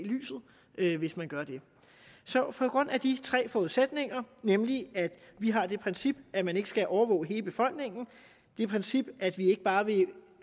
lyset hvis man gør det på grund af de tre forudsætninger nemlig at vi har det princip at man ikke skal overvåge hele befolkningen det princip at vi ikke bare vil